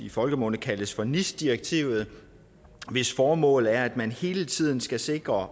i folkemunde kaldes for nis direktivet hvis formål er at man hele tiden skal sikre